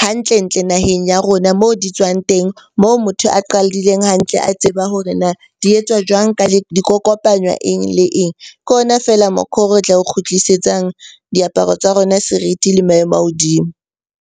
hantle-ntle naheng ya rona hona mo di tswang teng. Moo motho a qadileng hantle a tseba hore na di etswa jwang? Kopanywa eng le eng? Ke ona feela re tla oo kgutlisetsang diaparo tsa rona serithi le maemo a hodimo.